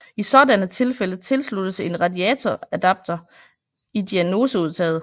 I sådanne tilfælde tilsluttes en radioadapter i diagnoseudtaget